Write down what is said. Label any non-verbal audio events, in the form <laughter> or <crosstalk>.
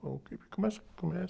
<unintelligible> o que começa, começa